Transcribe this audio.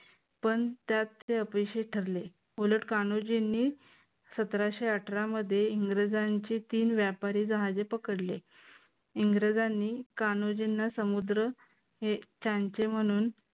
पण त्यात ते अपयशी ठरले उलट कान्होजींनी सतराशे अठरा मध्ये इंग्रजांचे तीन व्यापारी जहाजे पकडले. इंग्रजांनी कान्होजींना समुद्र त्यांचे म्हणून